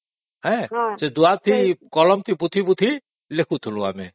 ସେ ଦୁଆତ ରେ କଲମ ପୋତି ପୋତି କେଖୁଥିଲୁ ଆମେ